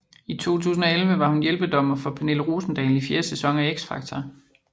I 2011 var hun hjælpedommer for Pernille Rosendahl i fjerde sæson af X Factor